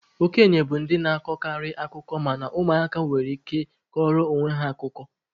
Okenye bụ ndị na-akọkarị akụkọ mana ụmụ aka nwekwara ike ịkọrọ onwe ha akụkọ.